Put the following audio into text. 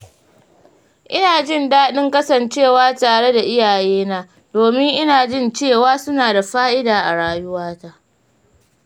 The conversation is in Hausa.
Ina jin daɗin kasancewa tare da iyayena domin ina jin cewa suna da fa’ida a rayuwata.